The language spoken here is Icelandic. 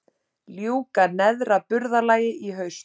Ljúka neðra burðarlagi í haust